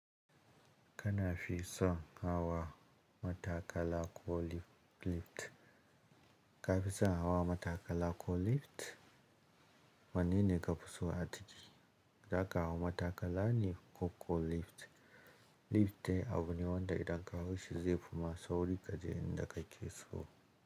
Kana fi son hawa matakala ko lift? Ka fi son hawa matakala ko lift? Wanene kafi so aciki. Za ka hawa matakala ne ko lift. Lift abune wanda idan ka hauashi zai fima sauri ka je inda ka ke so.